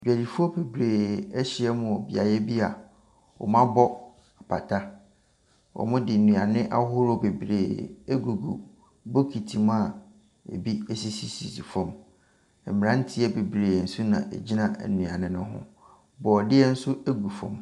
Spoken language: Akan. Dwadifoɔ bebree ahyia wɔ beaeɛ bi a wɔabɔ pata. Wɔde nnuane ahodoɔ bebree gugu bokiti mu a bi sisisisi fam. Mmeranteɛ bebree nso na ɛgyina nnuane ne ho, borɔdeɛ nso gu fam.